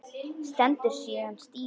Stendur síðan stífur.